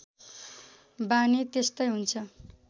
बानी त्यस्तै हुन्छ